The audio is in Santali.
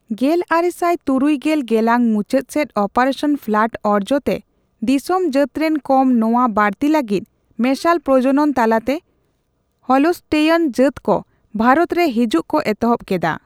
ᱜᱮᱞᱟᱨᱮᱥᱟᱭ ᱛᱩᱨᱩᱭ ᱜᱮᱞ ᱜᱮᱞᱟᱝ ᱢᱩᱪᱟᱹᱫ ᱥᱮᱪ ᱚᱯᱟᱨᱮᱥᱚᱱ ᱯᱷᱞᱟᱰ ᱚᱨᱡᱚᱛᱮ ᱫᱤᱥᱚᱢ ᱡᱟᱹᱛᱨᱮᱱ ᱠᱚᱢ ᱛᱚᱣᱟ ᱵᱟᱹᱲᱛᱤ ᱞᱟᱹᱜᱤᱫ ᱢᱮᱥᱟᱞ ᱯᱨᱚᱡᱚᱱᱚᱱ ᱛᱟᱞᱟᱛᱮ ᱦᱚᱞᱥᱴᱮᱭᱱ ᱡᱟᱛ ᱠᱚ ᱵᱷᱟᱨᱚᱛ ᱨᱮ ᱦᱟᱡᱩᱜ ᱠᱚ ᱮᱛᱦᱚᱵ ᱠᱮᱫᱟ᱾